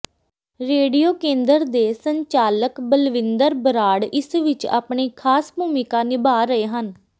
radio ਕੇਂਦਰ ਦੇ ਸੰਚਾਲਕ ਬਲਵਿੰਦਰ ਬਰਾੜ ਇਸ ਵਿਚ ਆਪਣੀ ਖ਼ਾਸ ਭੂਮਿਕਾ ਨਿਭਾ ਰਹੇ ਹਨ